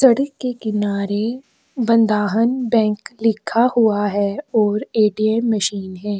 सड़क की किनारे बंधाहन बैंक लिखा हुआ है और एटीएम मशीन है।